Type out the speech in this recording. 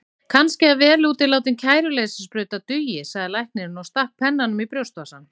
Kannski að vel útilátin kæruleysissprauta dugi, sagði læknirinn og stakk pennanum í brjóstvasann.